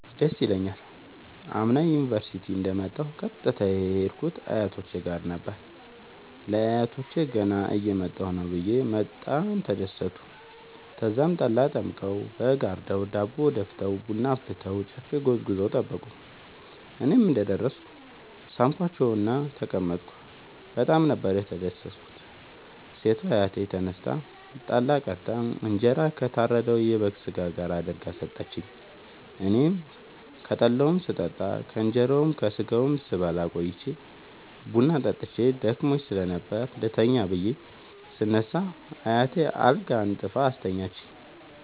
ደስ ይለኛል። አምና ዩኒቨርሢቲ እንደ ወጣሁ ቀጥታ የሄድኩት አያቶቼ ጋር ነበር። ለአያቶቸ ገና እየመጣሁ ነዉ ብየ በጣም ተደሠቱ። ተዛም ጠላ ጠምቀዉ በግ አርደዉ ዳቦ ደፍተዉ ቡና አፍልተዉ ጨፌ ጎዝጉዘዉ ጠበቁኝ። እኔም እንደ ደረስኩ ሣምኳቸዉእና ተቀመጥኩ በጣም ነበር የተደትኩት ሴቷ አያቴ ተነስታ ጠላ ቀድታ እንጀራ ከታረደዉ የበግ ስጋ ጋር አድርጋ ሠጠችኝ። አኔም ከጠላዉም ስጠጣ ከእንራዉና ከስጋዉም ስበላ ቆይቼ ቡና ጠጥቼ ደክሞኝ ስለነበር ልተኛ ብየ ስነሳ አያቴ አልጋ አንጥፋ አስተኛችኝ።